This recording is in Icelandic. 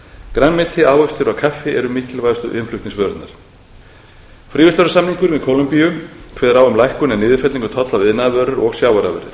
grænmeti ávextir og kaffi eru mikilvægustu innflutningsvörurnar fríverslunarsamningurinn við kólumbíu kveður á um lækkun á niðurfellingu tolla við iðnaðarvörur og sjávarafurðir